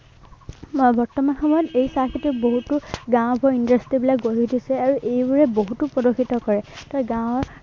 বৰ্তমান সময়ত এই চাহ খেতিত বহুতো ডাঙৰ ডাঙৰ industry বিলাক গঢ়ি উঠিছে। আৰু এইবোৰে বহুতো প্ৰদূষিত কৰে।